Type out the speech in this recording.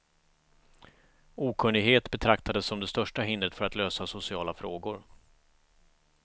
Okunnighet betraktades som det största hindret för att lösa sociala frågor.